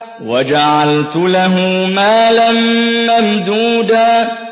وَجَعَلْتُ لَهُ مَالًا مَّمْدُودًا